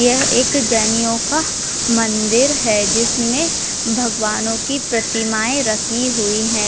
यह एक जैनियों का मंदिर है जिसमे भगवानों की प्रतिमाएं रखी हुई हैं।